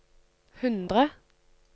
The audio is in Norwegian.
hundre